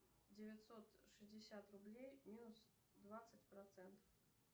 девятьсот шестьдесят рублей минус двадцать процентов